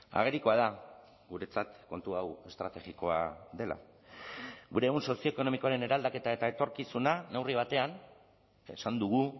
agerikoa da guretzat kontu hau estrategikoa dela gure ehun sozioekonomikoaren eraldaketa eta etorkizuna neurri batean esan dugu